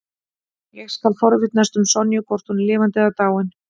Ég skal forvitnast um Sonju, hvort hún er lifandi eða dáin.